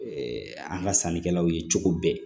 an ka sannikɛlaw ye cogo bɛɛ